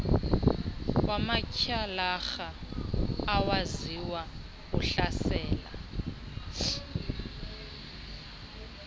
wamatyhalarha awaziwa uhlasela